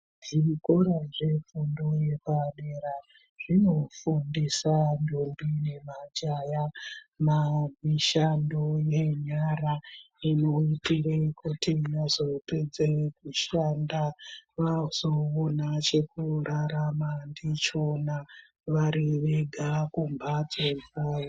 Zvikora zvefundoyepadera zvinofundisa ntombi nemajaya mishando yenyara inoitire kuti mozopedze kushanda vazowana chekurarama ndichona varivega kumbatso dzavo.